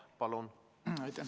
Palun!